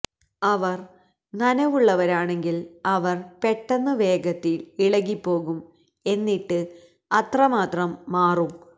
അവർ നനവുള്ളവരാണെങ്കിൽ അവർ പെട്ടെന്ന് വേഗത്തിൽ ഇളകിപ്പോകും എന്നിട്ട് അത്രമാത്രം മാറും